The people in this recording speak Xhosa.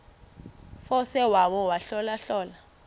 force wona ahlolahlole